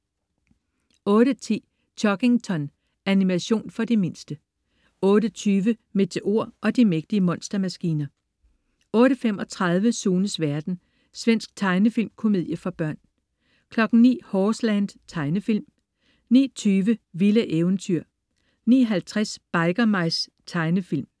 08.10 Chuggington. Animation for de mindste 08.20 Meteor og de mægtige monstermaskiner 08.35 Sunes verden. Svensk tegnefilmkomedie for børn 09.00 Horseland. Tegnefilm 09.20 Vilde eventyr 09.50 Biker Mice. Tegnefilm